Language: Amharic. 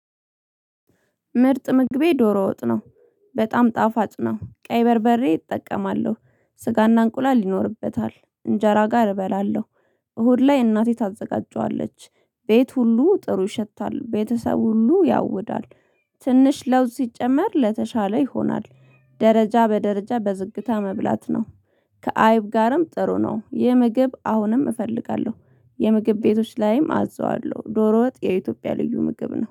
ምርጥ ምግቤ ዶሮ ወጥ ነው። በጣም ጣፋጭ ነው። ቀይ በርበሬ እጠቀማለሁ። ስጋ እና እንቁላል ይኖርበታል። እንጀራ ጋር እበላለሁ። እሁድ ላይ እናቴ ታዘጋጀዋለች። ቤት ሁሉ ጥሩ ይሸታል። ቤተሰብ ሁሉ ያውዳል። ትንሽ ለውጥ ሲጨመር ለተሻለ ይሆንዋል። ደረጃ በደረጃ በዝግታ መብላት ነው። ከአይብ ጋርም ጥሩ ነው። ይህ ምግብ አሁንም እፈልጋለሁ። የምግብ ቤቶች ላይም አዝዋለሁ። ዶሮ ወጥ የኢትዮጵያ ልዩ ምግብ ነው።